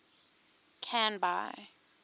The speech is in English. canby